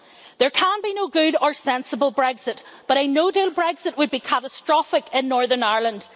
There can be no good or sensible Brexit, but a no-deal Brexit would be catastrophic in Northern Ireland.